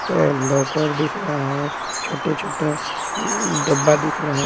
and locker दिख रहा हैं छोटे-छोटा अम्म डब्बा दिख रहा--